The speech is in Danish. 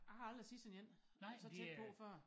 Jeg har aldrig set sådan en og så tæt på før